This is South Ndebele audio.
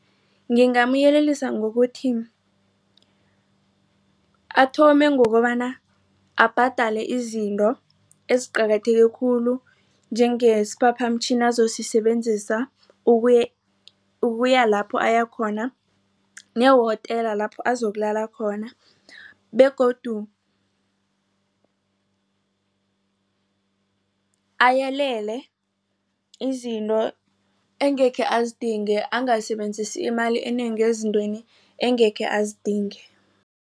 Ngingamyelelisa ngokuthi athome ngokobana abhadale izinto eziqakatheke khulu njengesiphaphamtjhini azosisebenzisa ukuya lapho ayakhona nehotela lapho azokulala khona begodu ayelele izinto engekhe azidinge angasebenzisa imali enengi ezintweni engekhe azidinge.